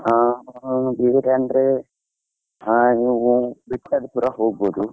ಹ, ಇಲ್ಲೇ ಅಂದ್ರೆ ಬಿದ್ಕಲ್ಪುರ ಹೋಗ್ಬೋದು.